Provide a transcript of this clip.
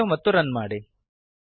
save ಮತ್ತು run ಮಾಡಿ